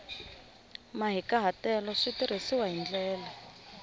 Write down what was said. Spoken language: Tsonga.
mahikahatelo swi tirhisiwile hi ndlela